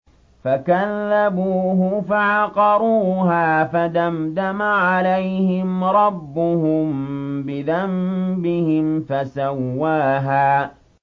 فَكَذَّبُوهُ فَعَقَرُوهَا فَدَمْدَمَ عَلَيْهِمْ رَبُّهُم بِذَنبِهِمْ فَسَوَّاهَا